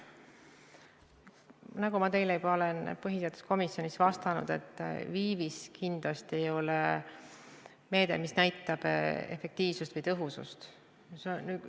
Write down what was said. Nagu ma teile juba põhiseaduskomisjonis vastasin, viivis kindlasti ei ole meede, mis näitab efektiivsust või tõhusust.